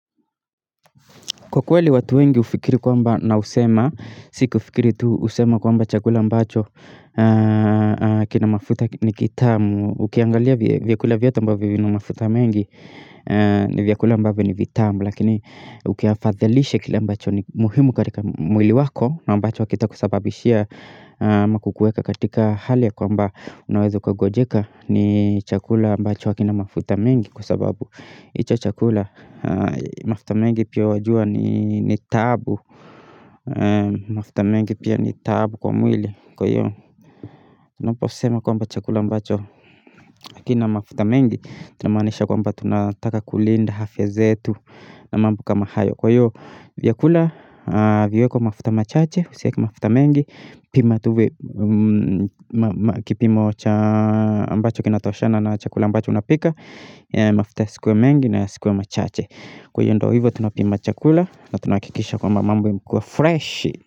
Kwa kweli watu wengi hufikiri kwamba na husema, si kufikiri tu husema kwamba chakula ambacho kina mafuta ni kitamu, ukiangalia vyakula vyote ambavyo vina mafuta mengi ni vyakula ambavyo ni vitamu, lakini ukiafadha lishe kile ambacho ni muhimu katika mwili wako na ambacho hakitakusababishia ama kukuweka katika hali ya kwamba unaweza ukagonjeka ni chakula ambacho hakina mafuta mengi kwa sababu. Hicho chakula mafuta mengi pia wajua ni ni taabu mafuta mengi pia ni taabu kwa mwili kwa hiyo tunaposema kwamba chakula ambacho hakina mafuta mengi tunamanisha kwamba tunataka kulinda afya zetu na mambo kama hayo. Kwa hiyo, vyakula viwekwe mafuta machache, usiweke mafuta mengi, pima tu kipimo ambacho kinatoshana na chakula ambacho unapika mafuta yasikuwe mengi na yasikuwe machache. Kwa hiyo ndiyo hivyo tunapima chakula na tunahakikisha kwamba mambo imekuwa freshi.